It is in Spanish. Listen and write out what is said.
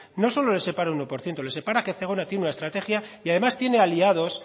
no solo les separa uno por ciento les separa que zegona tiene una estrategia y además tiene aliados